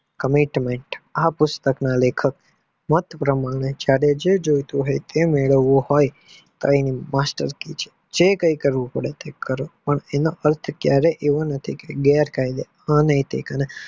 Commentmen આ પુષ્તક ના લેખકના માટે પ્રમાણે જે જોયુતુ હોય તે મેળવવા હોય કઈ માસ્ટ લાખીયુ છે કે જે કઈ કરવું પડે તે કરો પણ એનો અર્થ એવો નથી કે ગેરકાયદેસર અનૈતીક